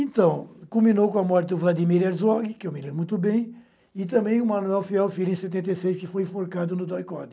Então, culminou com a morte do Vladimir Herzog, que eu me lembro muito bem, e também o Manuel Fiel Filho, em setenta e seis, que foi enforcado no DOI-CODE.